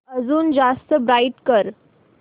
अजून जास्त ब्राईट कर